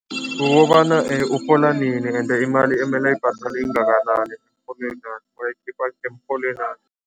Kukobana urhola nini ende imali emele ayibhadale ingakanani bayikhipha emrholwenakhe.